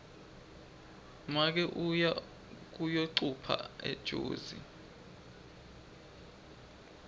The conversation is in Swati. make uye kuyocupha ejozi